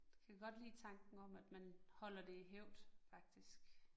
Det kan jeg godt lide tanken om, at man holder det i hævd, faktisk